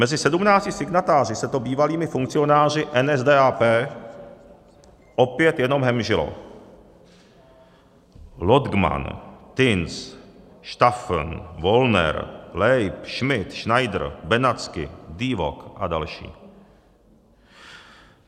Mezi sedmnácti signatáři se to bývalými funkcionáři NSDAP opět jenom hemžilo: Lodgman, Tins, Staffen, Wollner, Leibl, Schmidt, Schneider, Benatzky, Diewock a další.